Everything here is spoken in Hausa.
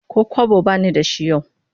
Ko kwabo ba ni da shi yau